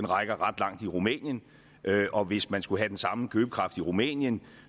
rækker ret langt i rumænien og hvis man skulle have den samme købekraft i rumænien